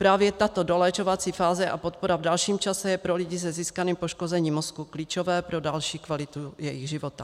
Právě tato doléčovací fáze a podpora v dalším čase jsou pro lidi se získaným poškozením mozku klíčové pro další kvalitu jejich života.